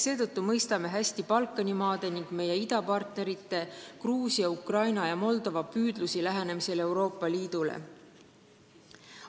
Seetõttu mõistame hästi Balkani maade ning meie idapartnerite, Gruusia, Ukraina ja Moldova püüdlusi Euroopa Liidule lähenemisel.